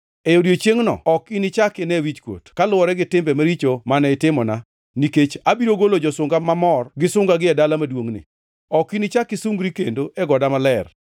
E odiechiengʼno ok inichak ine wichkuot kaluwore gi timbe maricho mane itimona, nikech abiro golo josunga mamor gi sungagi e dala maduongʼni. Ok inichak isungri kendo, e goda maler.